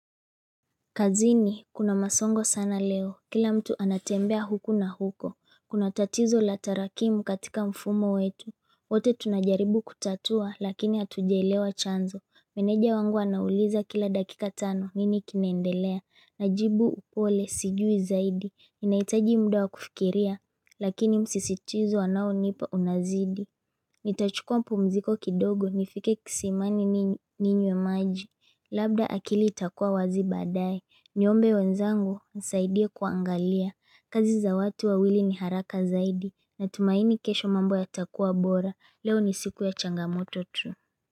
Kazini, kuna masongo sana leo. Kila mtu anatembea huku na huko. Kuna tatizo la tarakimu katika mfumo wetu. Wote tunajaribu kutatua, lakini hatujaelewa chanzo. Meneja wangu anauliza kila dakika tano, nini kinaendelea. Najibu upole, sijui zaidi. Ninahitaji muda wa kufikiria, lakini msisitizo wanao nipa unazidi. Nitachukua mpumziko kidogo nifike kisimani ninywe maji Labda akili itakua wazi badae Niombe wenzangu wanisaidie kuangalia kazi za watu wawili ni haraka zaidi Natumaini kesho mambo yatakua bora Leo ni siku ya changamoto tu.